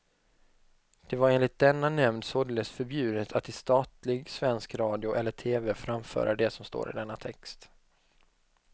Det var enligt denna nämnd således förbjudet att i statlig svensk radio eller tv framföra det som står i denna text.